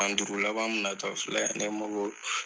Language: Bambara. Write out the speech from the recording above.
San duuru laban min natɔ filɛ